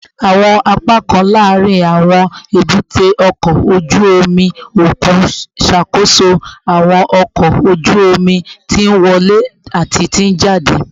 Awọn apakan laarin awọn ebute oko oju omi okun ṣakoso awọn ọkọ oju omi ti nwọle ati ti njade